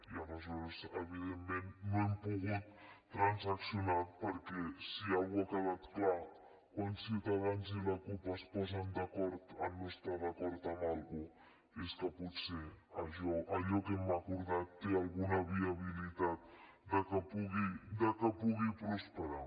i aleshores evidentment no hem pogut transaccionar perquè si alguna cosa ha quedat clara quan ciutadans i la cup es posen d’acord en no estar d’acord amb alguna cosa és que potser allò que hem acordat té alguna viabilitat de que pugui prosperar